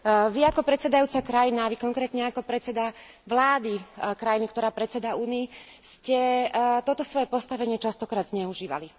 Vy, ako predsedajúca krajina, vy, konkrétne, ako predseda vlády krajiny, ktorá predsedá Únii, ste toto svoje postavenie častokrát zneužívali.